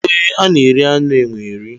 E, a na-eri anụ enwe eri.